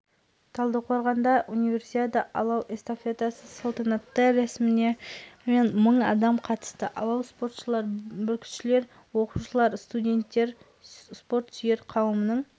алматыдағы қысқы универсиаданы хоккей матчы ашып берді алғашқы ойында словакия британиялықтарды тас-талқан етті айта кетейік бұл